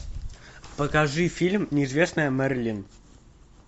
покажи фильм неизвестная мэрилин